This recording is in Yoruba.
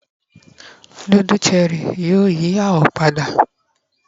nudulu Cherie yíò yí awọ pada